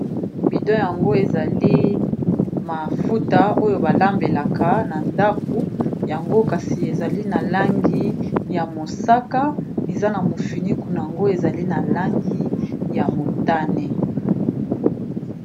Elili oyo ezo lakisa biso bidon monene ya huile ba lambekaka pe ba kalingaka biloko.